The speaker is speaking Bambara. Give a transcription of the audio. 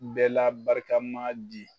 N bɛ la barikama di